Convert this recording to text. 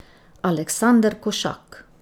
Aleksander Košak.